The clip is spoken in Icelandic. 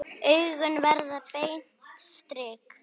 Augun verða beint strik.